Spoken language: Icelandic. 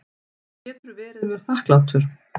Getur verið mér þakklátur.